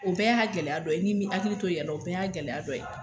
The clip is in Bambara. O bɛɛ y'a gɛlɛya dɔ ye, n'i min hakili to i yɛrɛ la, o bɛɛ y'a gɛlɛyaya dɔ ye.